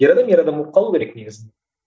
ер адам ер адам болып қалуы керек негізі